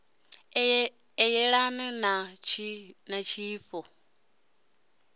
u yelana na tshifha ṱo